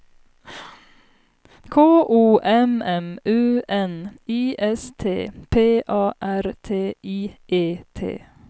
K O M M U N I S T P A R T I E T